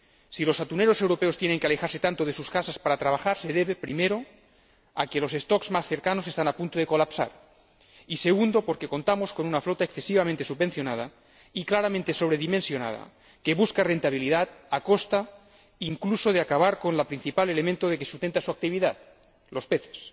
Si los atuneros europeos tienen que alejarse tanto de sus casas para trabajar se debe, primero, a que los stocks más cercanos están a punto de colapsar y, segundo, a que contamos con una flota excesivamente subvencionada y claramente sobredimensionada que busca rentabilidad a costa, incluso, de acabar con el principal elemento que sustenta su actividad, los peces.